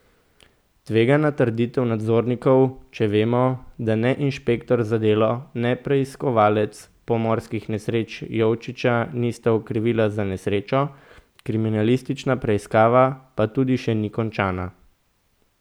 Tvegana trditev nadzornikov, če vemo, da ne inšpektor za delo ne preiskovalec pomorskih nesreč Jovičiča nista okrivila za nesrečo, kriminalistična preiskava pa tudi še ni končana.